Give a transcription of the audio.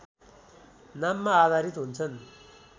नाममा आधारित हुन्छन्